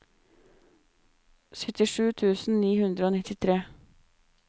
syttisju tusen ni hundre og nittitre